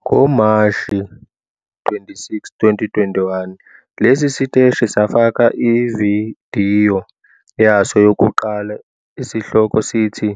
NgoMashi 26, 2021, lesi siteshi safaka ividiyo yaso yokuqala esihloko sithi